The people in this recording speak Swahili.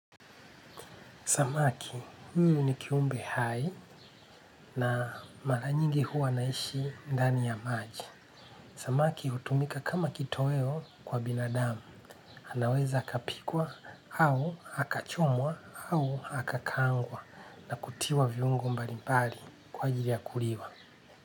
Samaki, huyu ni kiumbe hai na mara nyingi huwa anaishi ndani ya maji. Samaki hutumika kama kitoweo kwa binadamu. Anaweza akapikwa hau hakachomwa au hakakaangwa na kutiwa viungo mbali mbali kwa ajili ya kuliwa.